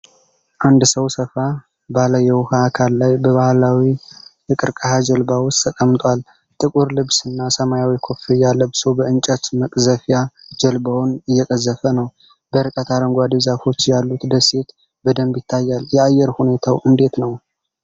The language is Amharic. አንድ ሰው ሰፋ ባለ የውሃ አካል ላይ በባህላዊ የቀርከሃ ጀልባ ውስጥ ተቀምጧል። ጥቁር ልብስና ሰማያዊ ኮፍያ ለብሶ በእንጨት መቅዘፊያ ጀልባውን እየቀዘፈ ነው። በርቀት አረንጓዴ ዛፎች ያሉት ደሴት በደንብ ይታያል። የአየር ሁኔታው እንዴት ነው?